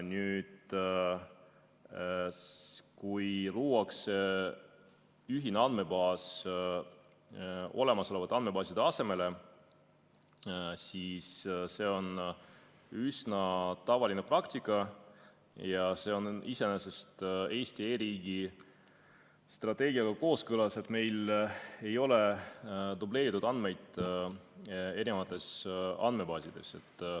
Nüüd, kui luuakse ühine andmebaas olemasolevate andmebaaside asemele, siis see on üsna tavaline praktika ja see on iseenesest Eesti e-riigi strateegiaga kooskõlas, et meil ei ole dubleeritud andmeid eri andmebaasides.